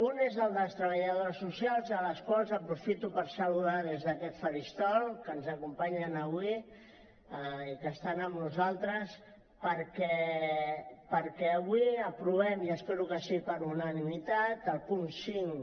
un és el de les treballadores socials a les quals aprofito per saludar des d’aquest faristol que ens acompanyen avui i que estan amb nosaltres perquè avui aprovem i espero que sigui per unanimitat el punt cinc